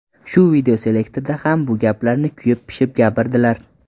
Shu videoselektorda ham bu gaplarni kuyib-pishib gapirdilar.